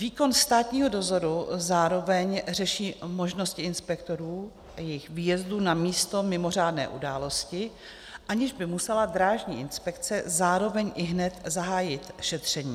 Výkon státního dozoru zároveň řeší možnosti inspektorů a jejich výjezdů na místo mimořádné události, aniž by musela Drážní inspekce zároveň ihned zahájit šetření.